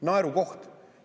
Naerukoht!